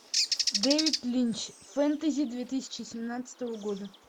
дэвид линч фэнтези две тысячи семнадцатого года